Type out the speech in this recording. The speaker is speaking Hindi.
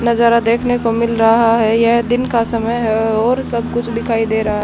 नजारा देखने को मिल रहा है ये दिन का समय है और सब कुछ दिखाई दे रहा--